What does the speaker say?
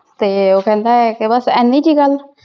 ਤੇ ਉਹ ਕਹਿੰਦਾ ਹੈ ਕਿ ਬਸ ਐਨੀ ਕੁ ਹੀ ਗੱਲ?